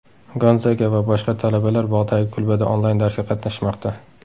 Gonzaga va boshqa talabalar tog‘dagi kulbada onlayn darsga qatnashmoqda.